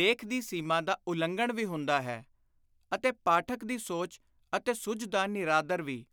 ਲੇਖ ਦੀ ਸੀਮਾ ਦਾ ਉਲੰਘਣ ਵੀ ਹੁੰਦਾ ਹੈ ਅਤੇ ਪਾਠਕ ਦੀ ਸੋਚ ਅਤੇ ਸੁਝ ਦਾ ਨਿਰਾਦਰ ਵੀ।